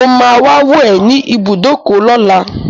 Mo máa wá wò ẹ́ ní ibùdókọ̀ lọ́la.